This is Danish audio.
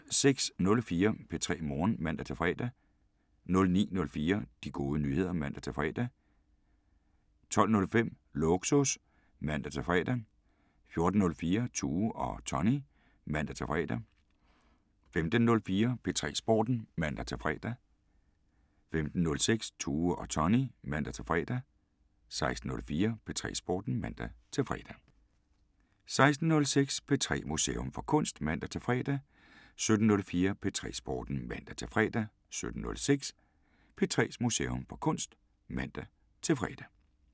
06:04: P3 Morgen (man-fre) 09:04: De Gode Nyheder (man-fre) 12:05: Lågsus (man-fre) 14:04: Tue og Tony (man-fre) 15:04: P3 Sporten (man-fre) 15:06: Tue og Tony (man-fre) 16:04: P3 Sporten (man-fre) 16:06: P3's Museum for Kunst (man-fre) 17:04: P3 Sporten (man-fre) 17:06: P3's Museum for Kunst (man-fre)